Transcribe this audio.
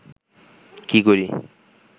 কী করি